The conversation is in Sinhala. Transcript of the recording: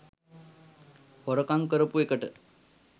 හොරකම් කරපු එකට